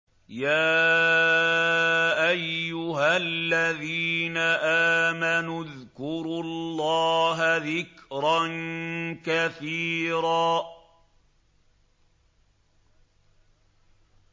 يَا أَيُّهَا الَّذِينَ آمَنُوا اذْكُرُوا اللَّهَ ذِكْرًا كَثِيرًا